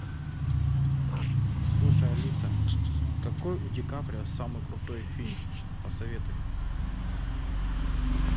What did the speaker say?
слушай алиса какой у ди каприо самый крутой фильм посоветуй